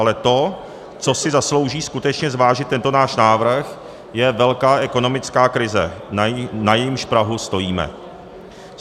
Ale to, co si zaslouží skutečně zvážit tento náš návrh, je velká ekonomická krize, na jejímž prahu stojíme.